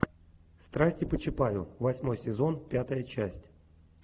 страсти по чапаю восьмой сезон пятая часть